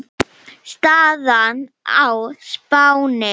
Staðan á Spáni